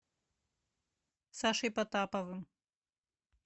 сашей потаповым